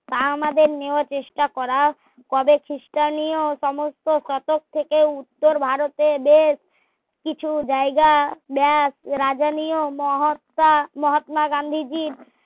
তা আমাদের নিয়ে চেষ্টা করা কবে খ্রিস্টানীও সমস্ত শতক থেকে উত্তর ভারতে এদের কিছু জায়গা দেন রাজনীও মহাত্মা মহাত্মা গান্ধীজির